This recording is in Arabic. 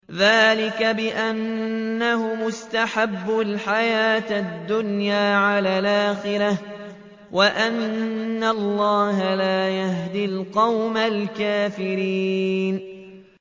ذَٰلِكَ بِأَنَّهُمُ اسْتَحَبُّوا الْحَيَاةَ الدُّنْيَا عَلَى الْآخِرَةِ وَأَنَّ اللَّهَ لَا يَهْدِي الْقَوْمَ الْكَافِرِينَ